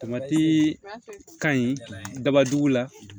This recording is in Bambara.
ka ɲi daba dugu la